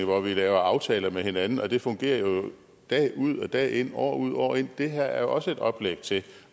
hvor vi laver aftaler med hinanden og det fungerer jo dag ud og dag ind år ud og år ind det her er jo også et oplæg til